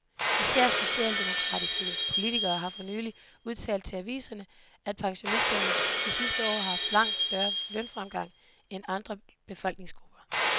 Især socialdemokratiske politikere har for nylig udtalt til aviserne, at pensionisterne de sidste år har haft langt større lønfremgang end andre befolkningsgrupper.